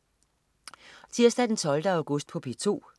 Tirsdag den 12. august - P2: